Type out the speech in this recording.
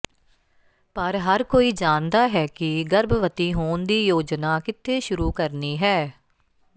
ਪਰ ਹਰ ਕੋਈ ਜਾਣਦਾ ਹੈ ਕਿ ਗਰਭਵਤੀ ਹੋਣ ਦੀ ਯੋਜਨਾ ਕਿੱਥੇ ਸ਼ੁਰੂ ਕਰਨੀ ਹੈ